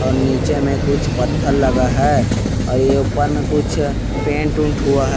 और निचे में कुछ पत्थल लगल है और ये ऊपर में कुछ पेंट उंट हुआ है।